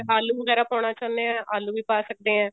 ਆਲੂ ਵਗੈਰਾ ਪਾਉਣਾ ਚਾਹੁੰਦਾ ਹੈ ਆਲੂ ਵੀ ਪਾ ਸਕਦੇ ਹਾਂ